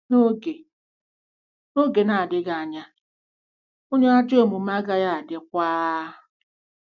“N’oge “N’oge na-adịghị anya, onye ajọ omume agaghị adịkwa...